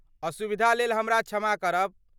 असुविधा लेल हमरा क्षमा करब।